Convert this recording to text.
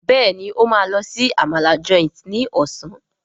Béèni o ma ló sì Àmàlà Joint ní Ọ̀sán.